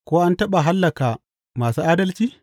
Ko an taɓa hallaka masu adalci?